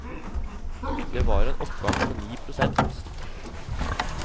Det var en oppgang på ni prosent.